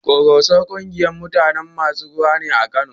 Ƙoroso ƙungiyar masu rawa ne a Kano.